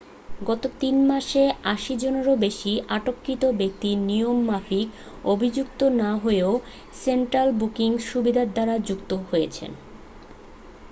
গত 3 মাসে 80 জনেরও বেশী আটককৃত ব্যক্তি নিয়ম মাফিক অভিযুক্ত না হয়েও সেন্ট্রাল বুকিং সুবিধার দ্বারা মুক্ত হয়েছেন